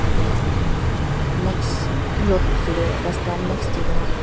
eteh next road bechidae rastha next dae toh--